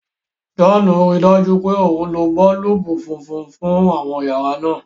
John ríi dájú pé o ló boolubu fúnfún fún àwọn yàrá náa.